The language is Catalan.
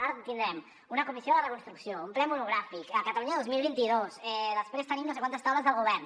ara tindrem una comissió de reconstrucció un ple monogràfic catalunya dos mil vint dos després tenim no sé quantes taules del govern